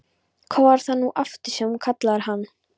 Hvað var það nú aftur sem þú kallaðir hann?